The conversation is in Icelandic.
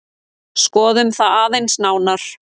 Skoðum það aðeins nánar.